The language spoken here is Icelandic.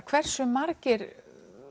hversu margir